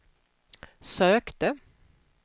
sökte